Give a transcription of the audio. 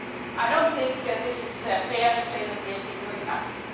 I do not think it is fair to say that we have been doing nothing.